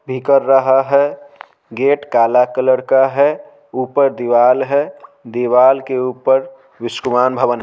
भी कर रहा है गेट काला कलर का है ऊपर दीवार है दीवार के ऊपर विश्कुमान भवन--